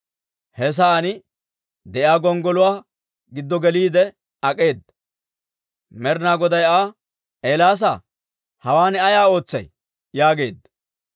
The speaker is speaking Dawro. He sa'aan de'iyaa gonggoluwaa giddo geliide ak'eeda. Med'inaa Goday Aa, «Eelaasaa; hawaan ay ootsay?» yaageedda.